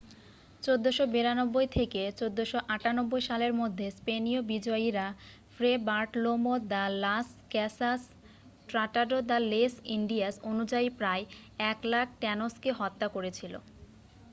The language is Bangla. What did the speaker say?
1492 থেকে 1498 সালের মধ্যে স্পেনীয় বিজয়ীরা Fray Bartolome de las Casas Tratado de las Indias অনুযায়ী প্রায় 100,000 ট্যানোসকে হত্যা করেছিল।